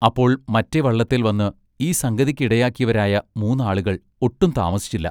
അപ്പോൾ മറ്റെ വള്ളത്തേൽ വന്ന് ഈ സംഗതിക്കിടയാക്കിയവരായ മൂന്നാളുകൾ ഒട്ടും താമസിച്ചില്ല.